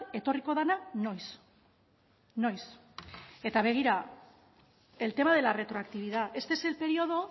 etorriko dena noiz noiz eta begira el tema de la retroactividad este es el periodo